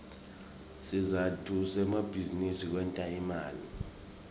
sizatfu semabizinisi kwenta imali